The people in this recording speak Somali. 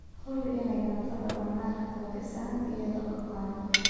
Hubi in aanay cuntadu bannaanka fadhiisan iyada oo qaawan.